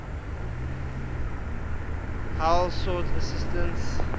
heller sought assistance